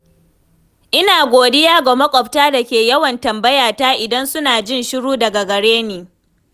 Ina godiya ga maƙwabta da ke yawan tambayata idan suna jin shiru daga gare ni.